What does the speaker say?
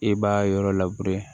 I b'a yɔrɔ labure